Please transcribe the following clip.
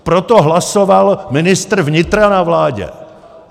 Proto hlasoval ministr vnitra na vládě.